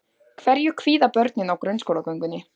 Hverju kvíða börnin á grunnskólagöngunni?